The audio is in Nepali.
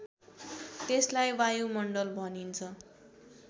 त्यसलाई वायुमण्डल भनिन्छ